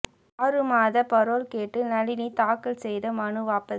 ஆறு மாத பரோல் கேட்டு நளினி தாக்கல் செய்த மனு வாபஸ்